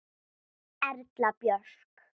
Erla Björk.